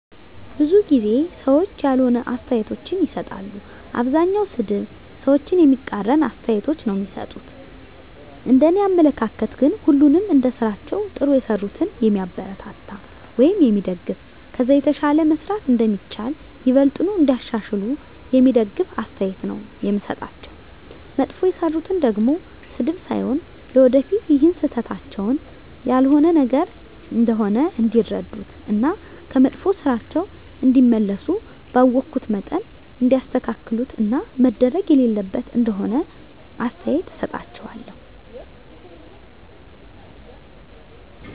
ብዙ ጊዜ ሰዎች ያልሆነ አስተያየቶችን ይሰጣሉ። አብዛኛዉ ሰድብ፣ ሰዎችን የሚቃረን አስተያየቶች ነዉ እሚሰጡት፤ እንደኔ አመለካከት ግን ሁሉንም እንደስራቸዉ ጥሩ የሰሩትን የሚያበረታታ ወይም የሚደገፍ ከዛ የተሻለ መስራት እንደሚቻል፣ ይበልጥኑ እንዲያሻሽሉ የሚደግፍ አስተያየት ነዉ የምሰጣቸዉ፣ መጥፎ የሰሩትን ደሞ ስድብ ሳይሆን ለወደፊት ይሀን ስህተታቸዉን ያልሆነ ነገር እንደሆነ እንዲረዱት እና ከመጥፋ ስራቸዉ እንዲመለሱ ባወኩት መጠን እንዲያስተካክሉት እና መደረግ የሌለበት ነገር እንደሆነ አስተያየት እሰጣቸዋለሁ።